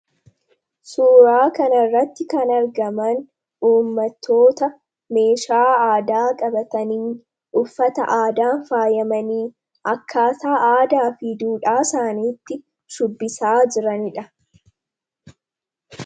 Suuraa kana irratti kan argaman uummatoota meeshaa aadaa qabatanii fi uffata aadaan faayamanii akkaataa aadaa fi duudhaa isaaniitti shubbisaa jiraniidha.